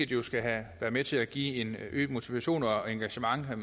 jo skal være med til at give øget motivation og engagement og